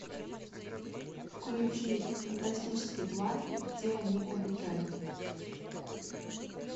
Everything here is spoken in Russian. включи фантастические твари и где они обитают